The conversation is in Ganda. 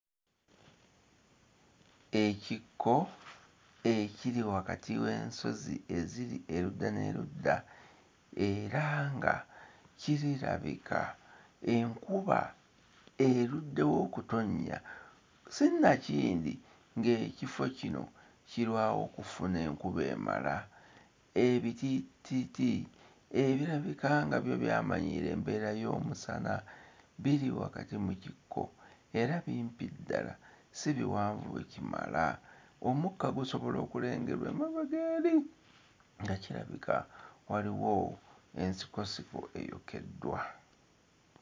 Ekikko ekiri wakati w'ensozi eziri erudda n'erudda era nga kirabika enkuba eruddewo okutonnya, sinakindi ng'ekifo kino kirwawo okufuna enkuba emala. Ebitiititi ebirabika nga byo byamanyiira embeera y'omusana biri wakati mu kikko era bimpi ddala, si biwanvu ekimala. Omukka gusobola okulengerwa amabega eri nga kirabika waliwo ensikosiko eyokeddwa.